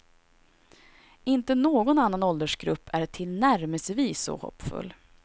Inte någon annan åldersgrupp är tillnärmelsevis så hoppfull.